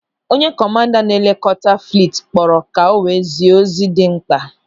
Onye kọmanda na-elekọta fliit kpọrọ ka o wee zie ozi dị mkpa.